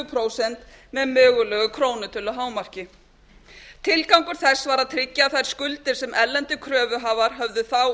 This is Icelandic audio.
prósent með mögulegu krónutöluhámarki tilgangur þess að að tryggja að þær skuldir sem erlendir kröfuhafar höfðu þá